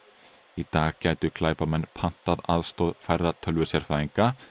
í dag gætu glæpamenn pantað aðstoð færra tölvusérfræðinga